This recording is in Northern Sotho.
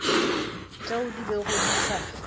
tšeo di bego di sa